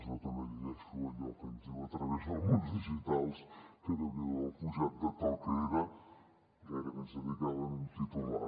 jo també llegeixo allò que ens diu a través d’alguns digitals que déu n’hi do el pujat de to que era gairebé ens dedicaven un titular